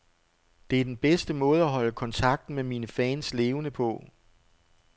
Det er den bedste måde at holde kontakten med mine fans levende på.